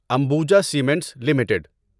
Ambuja Cements limited